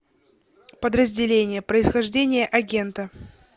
подразделение происхождение агента